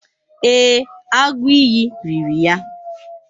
Ee, agụ iyi riri ya.